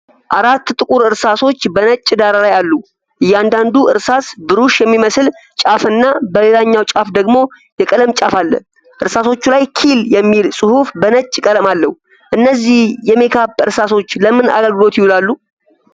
አራት ጥቁር እርሳሶች በነጭ ዳራ ላይ አሉ። እያንዳንዱ እርሳስ ብሩሽ የሚመስል ጫፍና በሌላኛው ጫፍ ደግሞ የቀለም ጫፍ አለው። እርሳሶቹ ላይ 'ኪል' የሚል ጽሑፍ በነጭ ቀለም አለው። እነዚህ የሜካፕ እርሳሶች ለምን አገልግሎት ይውላሉ?